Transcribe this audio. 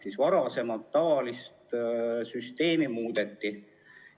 Seega varasemat süsteemi muudeti.